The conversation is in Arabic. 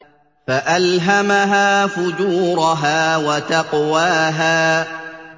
فَأَلْهَمَهَا فُجُورَهَا وَتَقْوَاهَا